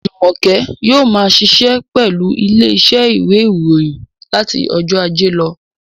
Jùmọ̀kẹ́ yóò ma ṣiṣẹ́ pẹ̀lú ilé iṣẹ́ ìwé ìròyìn láti ọjọ́ ajé lọ